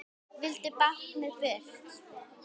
Vildu báknið burt.